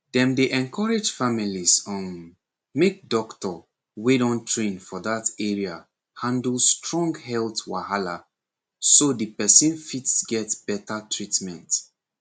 dem dey encourage families um make doctor wey don train for that area handle strong health wahala so the person fit get better treatment